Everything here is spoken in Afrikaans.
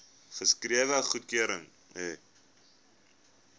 geskrewe goedkeuring hê